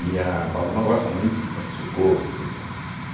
E a Paloma gosta muito de Pronto Socorro, tudo, né?